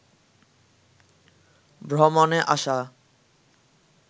ভ্রমণে আসা